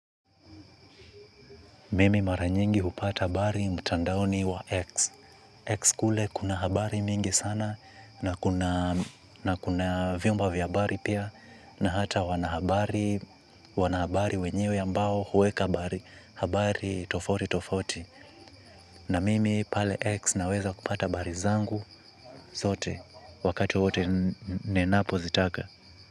Mimi mara nyingi hupata habari mtandaoni wa X. X kule kuna habari mingi sana na kuna vyombo vya habari pia. Na hata wanahabari wenyewe ambao huweka habari tofauti tofauti. Na mimi pale X naweza kupata habari zangu zote wakati wote ninapo zitaka.